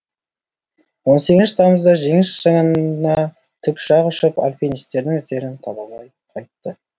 он сегізінші тамызда жеңіс шыңына тікұшақ ұшып альпинистердің іздерін таба алмай қайтты